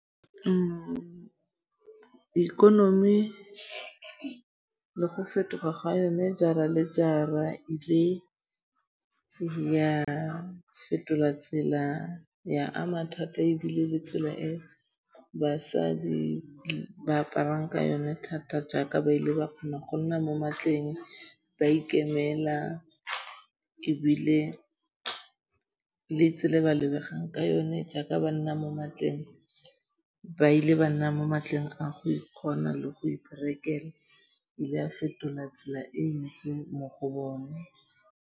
Ikonomi le go fetoga ga yone jara le jara e le ya fetola tsela, ya ama thata ebile le tsela e basadi ba aparang ka yone thata jaaka ba ile ba kgona go nna mo magetleng, ba ikemela ebile le tsela e ba lebegang ka yone jaaka ba nna mo matleng. Ba ile ba nna mo matleng a go ikgona le go iperekela. E ile ya fetola tsela e ntsi mo go bone.